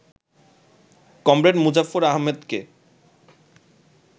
comrade Muzaffar আহমদকে